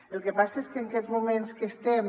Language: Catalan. el que passa és que en aquests moments que estem